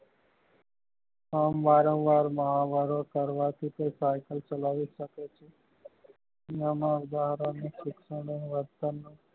વારંવાર માં